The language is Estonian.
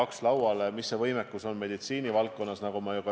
Milline meie võimekus meditsiinivaldkonnas on?